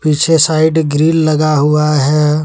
पीछे side grill लगा हुआ है।